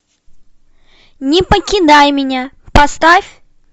не покидай меня поставь